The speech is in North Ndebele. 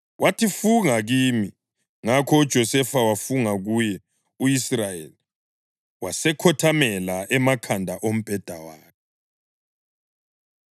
Wathi, “Funga kimi.” Ngakho uJosefa wafunga kuye, u-Israyeli wasekhothamela emakhanda ombheda wakhe.